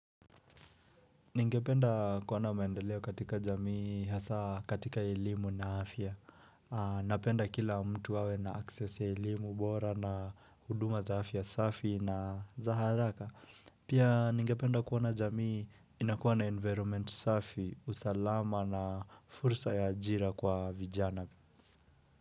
Ningependa kuona maendeleo katika jamii hasa katika elimu na afya. Napenda kila mtu awe na access ya elimu bora na huduma za afya safi na za haraka. Pia ningependa kuona jamii inakuwa na environment safi, usalama na fursa ya ajira kwa vijana.